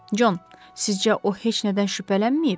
Con, sizcə o heç nədən şübhələnməyib?